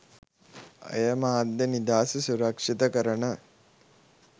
එය මාධ්‍ය නිදහස සුරක්ෂිත කරන